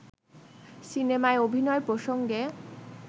সিনেমায় অভিনয় প্রসঙ্গে